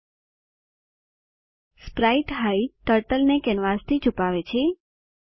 sprite hide turtle ને કેનવાસથી છુપાવે છે